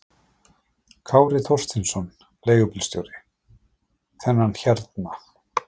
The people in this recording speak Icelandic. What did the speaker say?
Kári Þorsteinsson, leigubílstjóri: Þennan hérna?